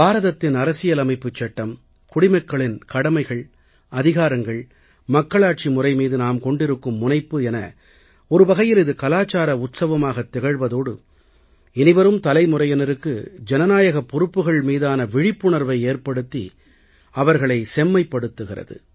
பாரதத்தின் அரசியல் அமைப்புச் சட்டம் குடிமக்களின் கடமைகள் அதிகாரங்கள் மக்களாட்சி முறை மீது நாம் கொண்டிருக்கும் முனைப்பு என ஒருவகையில் இது கலாச்சார உற்சவமாக திகழ்வதோடு இனிவரும் தலைமுறையினருக்கு ஜனநாயகப் பொறுப்புக்கள் மீதான விழிப்புணர்வை ஏற்படுத்தி அவர்களை செம்மைப்படுத்துகிறது